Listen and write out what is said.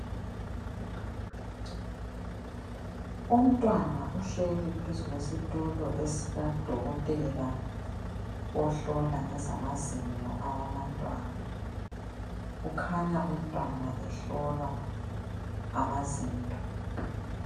Umntwana uhleli phezu kwesitulo esikadokotela ohlola ngezamazinyo awabantwana. Ukhanya umntwana ehlolwa amazinyo.